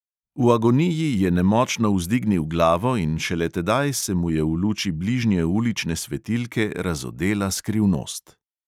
V agoniji je nemočno vzdignil glavo in šele tedaj se mu je v luči bližnje ulične svetilke razodela skrivnost.